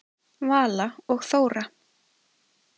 Vala og Þóra.